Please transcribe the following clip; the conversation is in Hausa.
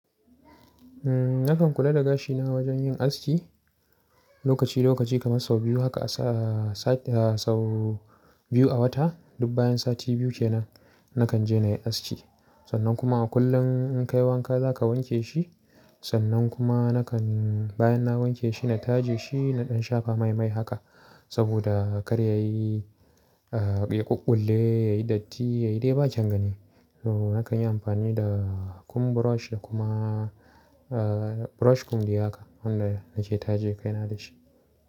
Nakan kula da gashina wajen yin aski lokaci lokaci kamar sau biyu, haka sau biyu a wata. Duk bayan sati biyu ke nan nakan je na yi aski. Sannan kuma a kullum in kai wanka za ka wanke shi. Sannan kuma nakan bayan na wanke shi na taje shi da ɗan shafa mai mai haka saboda kar ya yi ƙuƙƙulle, ya yi datti, ya yi dai ba kyan gani. Nakan yi amfani da comb brush da kuma brush comb diyaka, wannan da nake taje kaina da shi.